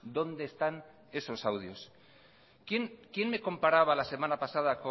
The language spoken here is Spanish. dónde están esos audios quién me comparaba la semana pasada